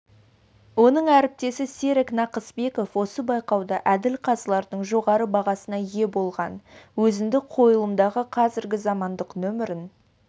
оның әріптесі серік нақыспеков осы байқауда әділқазылардың жоғары бағасына ие болған өзіндік қойылымдағы қазіргі заманғы нөмірін